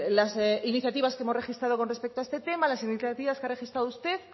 las iniciativas que hemos registrado con respecto a este temas las iniciativa que ha registrado usted